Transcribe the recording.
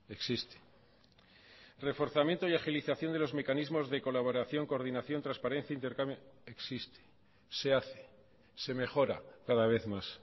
existe reforzamiento y agilización de los mecanismos de colaboración coordinación transparencia intercambio existe se hace se mejora cada vez más